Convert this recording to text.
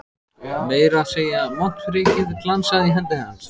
Meira að segja montprikið glansaði í hendi hans.